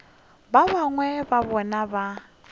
ba bangwe ba bona ba